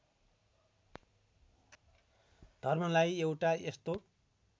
धर्मलाई एउटा यस्तो